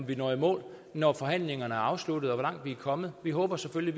vi når i mål når forhandlingerne er afsluttet og hvor langt vi er kommet vi håber selvfølgelig